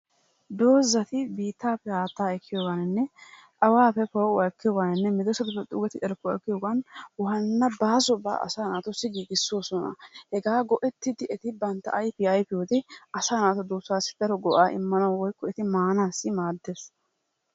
Dozati biitaappe haattaa ekkiyogaaninne awaappe poo'uwa ekkiyoogaaninne medoosatuppe xuugettida carkkuwa ekkiyogan waana baasobaa asaa naatussi giigisoosona. Hegaa go'ettidi eti bantta ayfiya ayfiyode asaa naatu duusassi daro go'aa imanawu woykko eti maaanawu maadees.